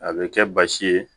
A bɛ kɛ basi ye